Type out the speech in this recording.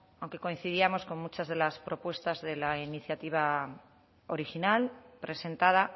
aunque coincidíamos con muchas de las propuestas de la iniciativa original presentada